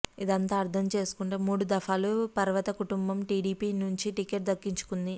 ఇదంతా అర్థం చేసుకుంటే మూడు దఫాలు పర్వత కుటుంబం టీడీపీ నుంచి టిక్కెట్ దక్కించుకుంది